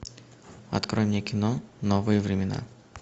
открой мне кино новые времена